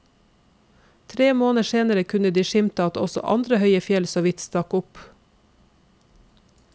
Tre måneder senere kunne de skimte at også andre høye fjell så vidt stakk opp.